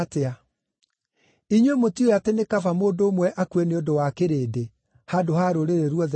Inyuĩ mũtiũĩ atĩ nĩ kaba mũndũ ũmwe akue nĩ ũndũ wa kĩrĩndĩ, handũ ha rũrĩrĩ ruothe rũthire.”